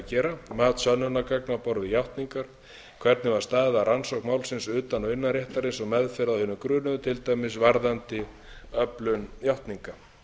gera mat sönnunargagna á borð við játningar hvernig var staðið að rannsókn málsins utan og innan réttarins og meðferð á hinum grunuðu til dæmis varðandi öflun játninga